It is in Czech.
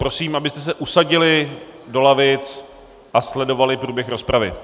Prosím, abyste se usadili do lavic a sledovali průběh rozpravy.